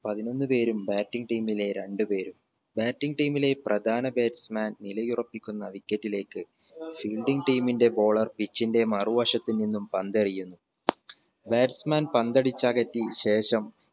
പതിനൊന്ന് പേരും bating team ലെ രണ്ട് പേരും bating team ലെ പ്രധാന batsman നിലയുറപ്പിക്കുന്ന wicket ലേക്ക് fielding team ന്റെ bowler pitch ന്റെ മറുവശത്ത് നിന്നും പന്തെറിയുന്നു batsman പന്തടിച്ച് അകറ്റി ശേഷം